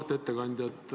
Auväärt ettekandja!